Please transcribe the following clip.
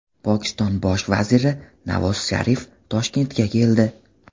Pokiston Bosh vaziri Navoz Sharif Toshkentga keldi.